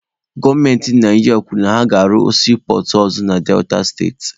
Gọọmenti Naijiria kwuru na ha ga-arụ siipọọtụ ọzọ na Delta steeti.